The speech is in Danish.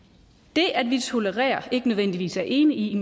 det at vi tolererer ikke nødvendigvis er enige